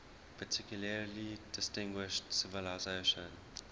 particularly distinguished civilization